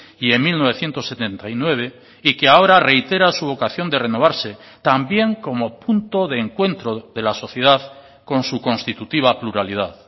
y en mil novecientos setenta y nueve y que ahora reitera su vocación de renovarse también como punto de encuentro de la sociedad con su constitutiva pluralidad